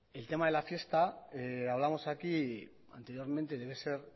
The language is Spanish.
el tema de la fiesta hablamos aquí anteriormente debe ser